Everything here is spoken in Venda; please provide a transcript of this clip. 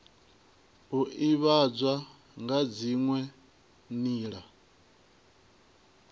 u ivhadzwa nga dziwe nila